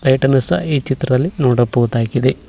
Light ಅನ್ನು ಸಹ ಈ ಚಿತ್ರದಲ್ಲಿ ನೋಡಬಹುದಾಗಿದೆ.